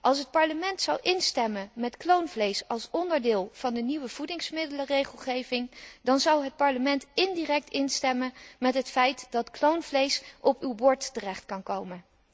Als het Parlement zou instemmen met kloonvlees als onderdeel van de nieuwe voedingsmiddelenregelgeving, dan zou het Parlement indirect instemmen met het feit dat kloonvlees op uw bord terecht kan komen.